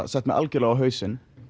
sett mig algjörlega á hausinn